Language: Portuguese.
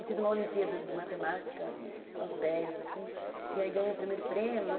Eu fiz uma olimpíada de matemática aos dez, assim, e aí ganhei o primeiro prêmio.